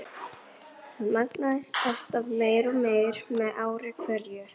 Hann magnaðist alltaf meir og meir með ári hverju.